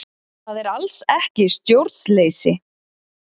Það er alls ekki stjórnleysi